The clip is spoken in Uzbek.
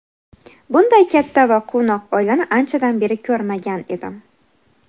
Bunday katta va quvnoq oilani anchadan beri ko‘rmagan edim.